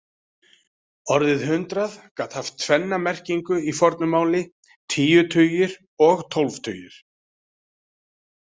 Orðið hundrað gat haft tvenna merkingu í fornu máli, tíu tugir og tólf tugir.